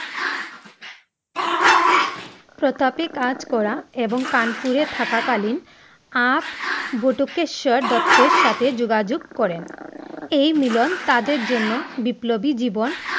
প্রতাপে কাজ করা এবং কানপুরে থাকা কালীন আপ বটেশ্বর দত্ত সাথে যোগাযোগে করেন । এই মিলন তাদের জন্য বিপ্লবী জীবন